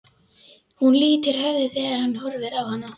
Hún lýtur höfði þegar hann horfir á hana.